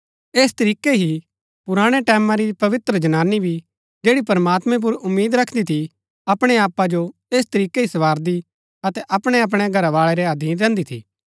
ऐस तरीकै ही पुराणै टैमां री पवित्र जनानी भी जैड़ी प्रमात्मैं पुर उम्मीद रखदी थी अपणै आपा जो ऐस तरीकै ही संवारदी अतै अपणैअपणै घरवाळै रै अधीन रैहन्‍दी थी